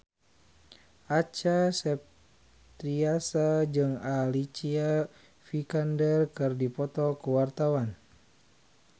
Acha Septriasa jeung Alicia Vikander keur dipoto ku wartawan